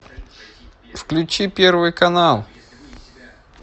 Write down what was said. включи первый канал